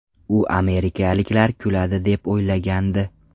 U amerikaliklar kuladi deb o‘ylagandi.